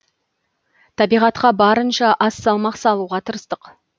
табиғатқа барынша аз салмақ салуға тырыстық